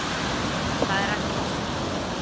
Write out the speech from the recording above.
Það er ekki að sjá.